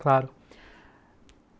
Claro.